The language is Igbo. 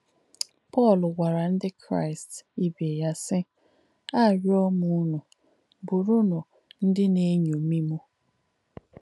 Pọ́l gwàrà ndí Kráīst ìbé yà, sī: “Àríọ̣ m ùnù, bùrùnù ndí nà-èṅómì m.”